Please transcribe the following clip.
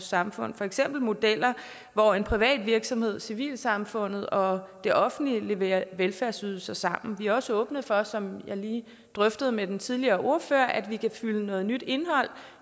samfundet for eksempel modeller hvor en privat virksomhed civilsamfundet og det offentlige leverer velfærdsydelser sammen vi er også åbne for som jeg lige drøftede med den tidligere ordfører at vi kan fylde noget nyt indhold